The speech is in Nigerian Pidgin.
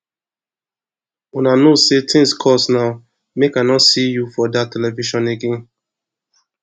una no know say things cost now maje i no see you for dat television again